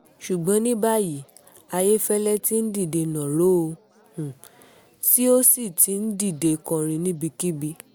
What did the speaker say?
ṣùgbọ́n ní báyìí ayéfẹ́lẹ́ ti ń dìde nàró ó sì ó sì ti ń dìde kọrin níbikíbi